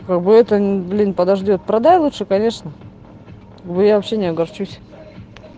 погода блин подождёт продай лучше конечно я вообще не огорчусь